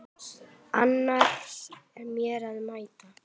Annars er mér að mæta!